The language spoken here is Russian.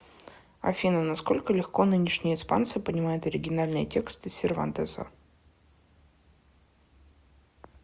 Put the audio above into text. афина насколько легко нынешние испанцы понимают оригинальные тексты сервантеса